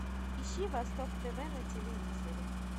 ищи восток тв на телевизоре